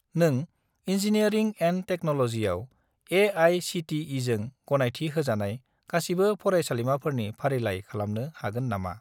नों engineering and टेक्न'ल'जिआव ए.आइ.सि.टि.इ.जों गनायथि होजानाय गासिबो फरायसालिमाफोरनि फारिलाइ खालामनो हागोन नामा?